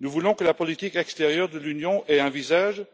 Nous voulons que la politique extérieure de l'Union ait un visage,